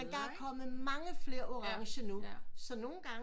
Men der er kommet mange flere orange nu så nogle gange